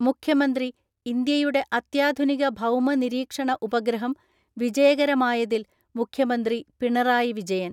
മുഖ്യമന്ത്രി ഇന്ത്യയുടെ അത്യാധുനിക ഭൗമനിരീക്ഷണ ഉപഗ്രഹം വിജയകരമായതിൽ മുഖ്യമന്ത്രി പിണറായി വിജയൻ